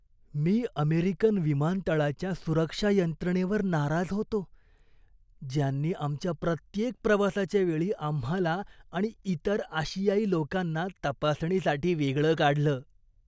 मी American विमानतळाच्या सुरक्षा यंत्रणेवर नाराज होतो, ज्यांनी आमच्या प्रत्येक प्रवासाच्या वेळी आम्हाला आणि इतर आशियाई लोकांना तपासणीसाठी वेगळं काढलं.